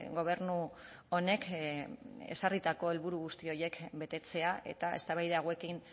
gobernu honek ezarritako helburu guzti horiek betetzea eta eztabaida hauekin